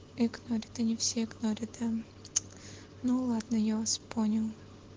игнорь ты не всегда рядом ну ладно я вас понял